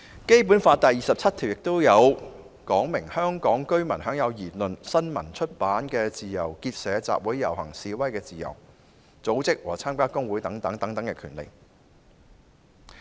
《基本法》第二十七條訂明，香港居民享有言論、新聞、出版的自由，結社、集會、遊行、示威的自由，組織和參加工會等權利。